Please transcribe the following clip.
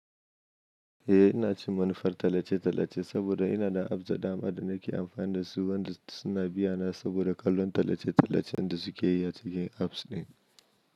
Eh ina cin manufar talace-talace saboda ina da apps da dama da nake amfani da su, wanda suna biyana saboda kallon tallace-tallacen da suke yi a cikin apps ɗin.